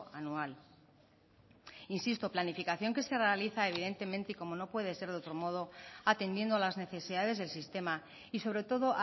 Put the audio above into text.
anual insisto planificación que se realiza evidentemente y como no puede ser de otro modo atendiendo las necesidades del sistema y sobre todo